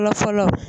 Fɔlɔ fɔlɔ